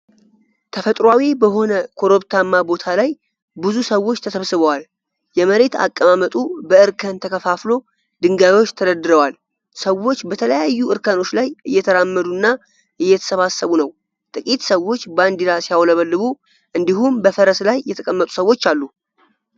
ተፈጥሯዊ በሆነ ኮረብታማ ቦታ ላይ ብዙ ሰዎች ተሰብስበዋል። የመሬት አቀማመጡ በእርከን ተከፋፍሎ ድንጋዮች ተደርድረዋል። ሰዎች በተለያዩ እርከኖች ላይ እየተራመዱና እየተሰባሰቡ ነው። ጥቂት ሰዎች ባንዲራ ሲያውለበልቡ እንዲሁም በፈረስ ላይ የተቀመጡ ሰዎች አሉ።